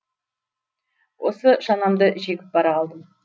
осы шанамды жегіп бара қалдым